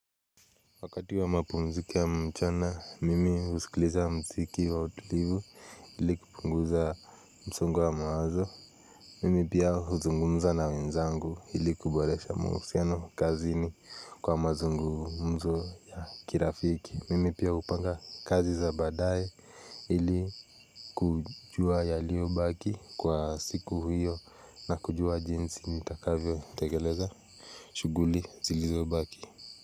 Wakati wa mapumziko ya mchana, mimi husikiliza mziki wa utulivu ili kupunguza mzongo wa mawazo. Mimi pia huzungumza na wenzangu ili kuboresha mahusiano kazi ni kwa mazungumzo ya kirafiki. Mimi pia hupanga kazi za baadaye ili kujua yaliyobaki kwa siku hiyo na kujua jinsi nitakavyo tekeleza. Shughuli zilizobaki.